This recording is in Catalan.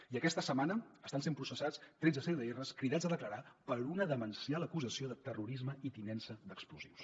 i aquesta setmana estan sent processats tretze cdrs cridats a declarar per una demencial acusació de terrorisme i tinença d’explosius